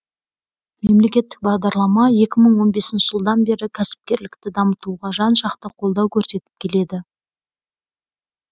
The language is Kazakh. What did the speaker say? мемлекеттік бағдарлама екі мың он бесінші жылдан бері кәсіпкерлікті дамытуға жан жақты қолдау көрсетіп келеді